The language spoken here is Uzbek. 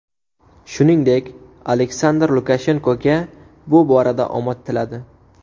Shuningdek, Aleksandr Lukashenkoga bu borada omad tiladi.